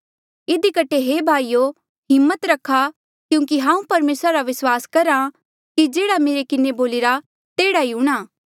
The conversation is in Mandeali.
इधी कठे हे भाईयो हिम्मत रखा क्यूंकि हांऊँ परमेसरा रा विस्वास करहा कि जेह्ड़ा मेरे किन्हें बोलिरा तेह्ड़ा ई हूंणां